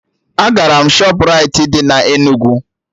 Agara m Shọpraịti dị na Enugu